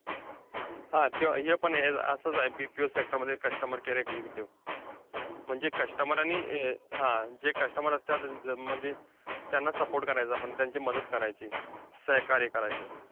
हा! त्यो हे पण असंच आहे, ते PPO sector मध्ये customer care executive. म्हणजे customer आणि अं जे customer असतात, त्यांना support करायचा आपण त्यांची मदत करायची, सहकार्य करायचं.